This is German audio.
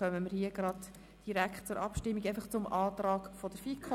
Dann kommen wir direkt zur Abstimmung über den Antrag der FiKo.